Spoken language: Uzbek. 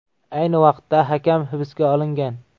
Ayni vaqtda hakam hibsga olingan.